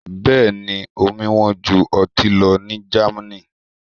Bẹ́ẹ̀ ni, omi wọ́n ju ọtí lọ ní Germany.